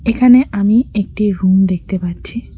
এখানে আমি একটি রুম দেখতে পাচ্ছি।